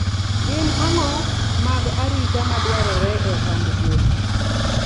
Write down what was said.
Gin ango mag arita madwarore e ohand gwen?